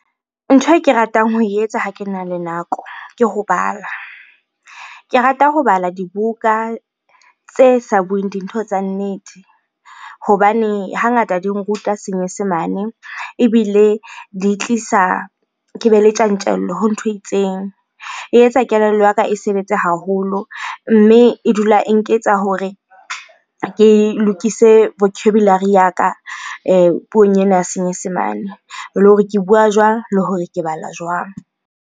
Ntho e ke ratang ho e etsa ha kena le nako, ke ho bala. Ke rata ho bala dibuka tse sa bueng dintho tsa nnete hobane hangata di nruta senyesemane ebile di tlisa, ke be le tjantjello ho ntho e itseng. E etsa kelello ya ka e sebetse haholo, mme e dula e nketsa hore ke lokise vocabulary ya ka puong ena ya senyesemane. Le hore ke bua jwang le hore ke bala jwang?